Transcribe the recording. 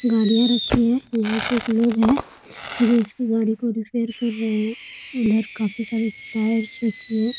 गाड़ियाँ रखी हैंयहाँ पे लोग हैं जो इसकी गाड़ी को रिपेयर कर रहे है अन्दर काफ़ी सारी टायर सेट किए हैं ।